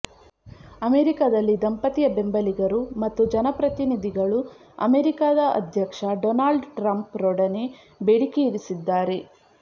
ಅಮೆರಿಕದಲ್ಲಿ ದಂಪತಿಯ ಬೆಂಬಲಿಗರು ಮತ್ತು ಜನಪ್ರತಿನಿಧಿಗಳು ಅಮೇರಿಕಾದ ಅಧ್ಯಕ್ಷ ಡೊನಾಲ್ಡ್ ಟ್ರಂಪ್ ರೊಡನೆ ಬೇಡಿಕೆಯಿರಿಸಿದ್ದಾರೆ